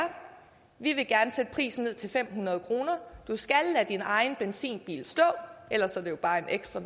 vi vil gerne sætte prisen ned til fem hundrede kroner du skal lade din egen benzinbil stå ellers er det jo bare en ekstra